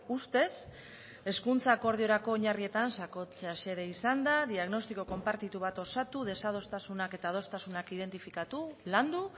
ustez hezkuntza akordiorako oinarrietan sakontzea xede izanda diagnostiko konpartitu bat osatu desadostasunak eta adostasunak identifikatu landu